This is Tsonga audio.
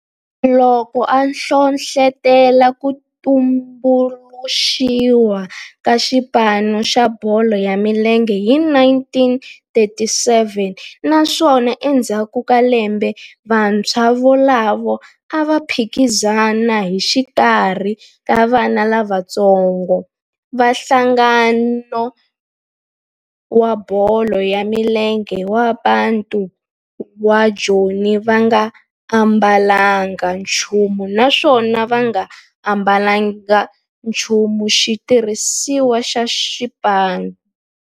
Loko a hlohlotela ku tumbuluxiwa ka xipano xa bolo ya milenge hi 1937 naswona endzhaku ka lembe vantshwa volavo a va phikizana exikarhi ka vana lavatsongo va nhlangano wa bolo ya milenge wa Bantu wa Joni va nga ambalanga nchumu naswona va nga ambalanga nchumu xitirhisiwa xa xipano.